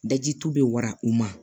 Daji tu be wara u ma